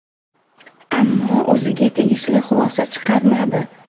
Ammo o‘ziga tegishli xulosa chiqarmadi.